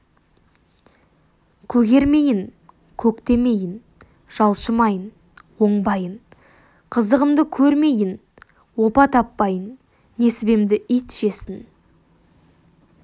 көгермейін көктемейін жалшымайын оңбайын қызығымды көрмейін опа таппайын несібемді ит жесін